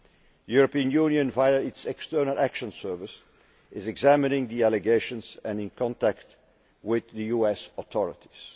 The European Union, via its External Action Service, is examining the allegations and is in contact with US authorities.